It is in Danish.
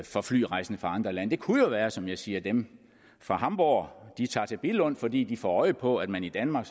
for flyrejsende fra andre lande det kunne jo være som jeg siger at dem fra hamborg tager til billund fordi de får øje på at man i danmark